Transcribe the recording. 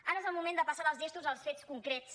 ara és el moment de passar dels gestos als fets concrets